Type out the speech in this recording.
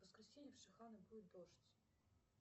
в воскресенье в шиханы будет дождь